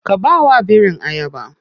Ka bawa birin ayaba.